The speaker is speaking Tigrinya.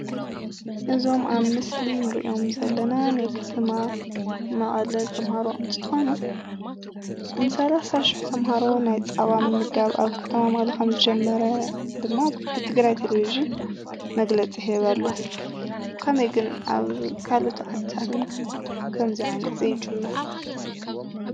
እዞም ኣብ ምስሊ እንሪኦም ዘለና ናይ ከተማ መቐለ ተምሃሮ እንትኾኑ ንሳላሳ ሽሕ ተምሃሮ ናይ ፃባ ምምጋብ ኣብ ከተማ መቐለ ከም ዝጀመረ ድማ ብትግራይ ቴሌቭዥን መግለፂ ይህብ ኣሎ። ከመይ ግን ኣብ ካልኦት ዓድታት ከምዚ ዓይነት ዘይጅመር?